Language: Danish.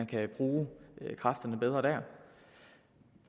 kan bruge kræfterne bedre